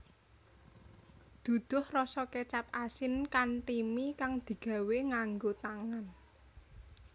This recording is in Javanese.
Duduh rasa kecap asin kanthi mi kang digawé nganggo tangan